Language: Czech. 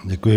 Děkuji.